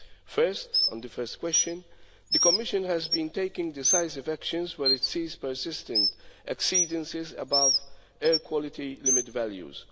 First on the first question, the Commission has been taking decisive action where it sees persistent exceedances above air quality limit values.